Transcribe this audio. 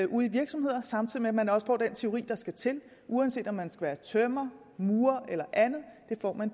ude i virksomheder samtidig med at man også får den teori der skal til uanset om man skal være tømrer murer eller andet